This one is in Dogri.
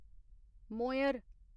मोयर